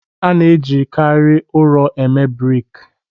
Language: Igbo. A na-ejikarị ụrọ eme brik